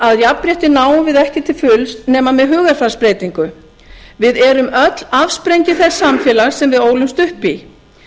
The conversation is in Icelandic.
að jafnrétti náum við ekki til fulls nema með hugarfarsbreytingu við erum öll afsprengi þess samfélags sem við ólumst upp í